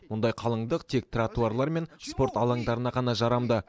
мұндай қалыңдық тек тратуарлар мен спорт алаңдарына ғана жарамды